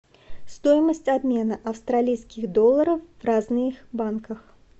стоимость обмена австралийских долларов в разных банках